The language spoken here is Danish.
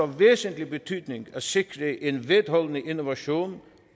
væsentlig betydning at sikre en vedholdende innovation